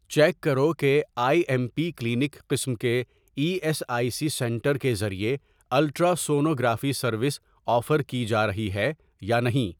check کرو کہ I M P clinic قسم کے E S I C centre کے ذریعے الٹراسونوگرافی سروس آفر کی جارہی ہے یا نہیں